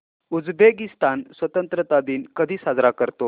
Uzbekistan स्वतंत्रता दिन कधी साजरा करतो